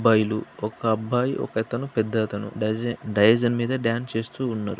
అబ్బాయిలు ఒక అబ్బాయి ఒకతను పెద్దతను డాన్స్ చేస్తున్నారు.